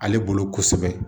Ale bolo kosɛbɛ